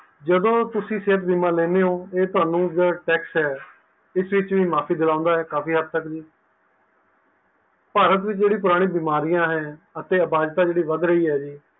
ਜਦੋ ਤੁਸੀਂ ਸਿਹਤ ਬੀਮਾ ਲੈਣੇਓ ਇਹ ਤੁਹਾਨੂੰ tax ਇਸ ਵਿੱਚ ਵੀ ਮਾਫੀ ਦਿਲਾਂਦਾ ਹੈ ਕਾਫੀ ਹੱਦ ਤੱਕ ਜੀ ਭਾਰਤ ਦੀਆ ਜਿਹੜੀਆਂ ਪੁਰਾਣੀ ਬਿਮਾਰੀਆਂ ਨੇ ਅਤੇ ਅਪਹਜਾਤਾ ਜਿਹੜੀ ਵੱਧ ਰਹੀ ਹੈ ਜੀ